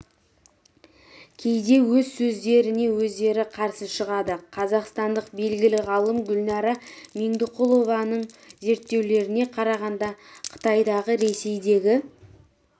кейде өз сөздеріне өздері қарсы шығады қазақстандық белгілі ғалым гүлнәра меңдіқұлованың зерттеулеріне қарағанда қытайдағы ресейдегі